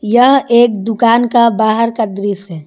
यह एक दुकान का बाहर का दृश्य है।